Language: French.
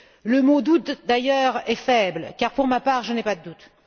Le mot doutes, d'ailleurs, est faible car, pour ma part, je n'ai pas de doutes.